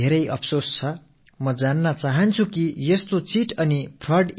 ஒரு பெண் என்ற முறையிலும் அவரது குடும்பத்தார் நிலை குறித்தும் எனக்கு மிகவும் துயரமாக இருக்கிறது